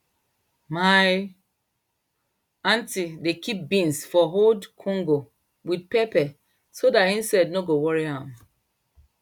my aunty dey kip beans for old conco wit pepper so dat insect no go wori am